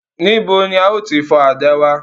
Nibo ni a yóò ti fọ àdá wa?